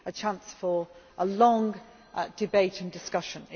me a chance for a long debate and discussion.